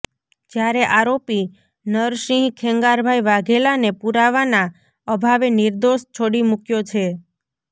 જ્યારે આરોપી નરસિંહ ખેંગારભાઈ વાઘેલાને પુરાવાના અભાવે નિર્દોષ છોડી મૂક્યો છે